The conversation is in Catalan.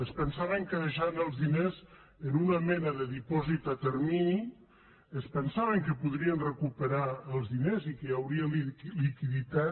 es pensaven que deixant els diners en una mena de dipòsit a termini podrien recuperar els diners i que hi hauria liquiditat